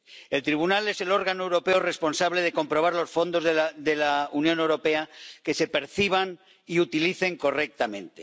El Tribunal es el órgano europeo responsable de comprobar que los fondos de la Unión Europea se perciban y utilicen correctamente.